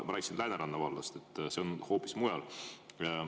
Ma rääkisin Lääneranna vallast, see on hoopis mujal.